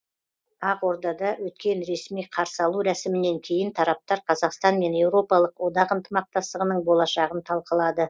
ақордада өткен ресми қарсы алу рәсімінен кейін тараптар қазақстан мен еуропалық одақ ынтымақтастығының болашағын талқылады